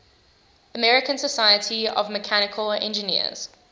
american society of mechanical engineers